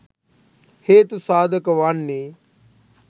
හේතු සාධක වන්නේ